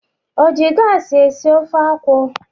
O ji gaasị esi ofe akwụ?